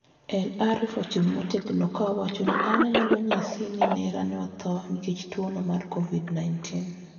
" El-Arif ochung' motegno ka owacho ni an onyalo ng'isi ni nera ne otho nikech tuono mar kovid-19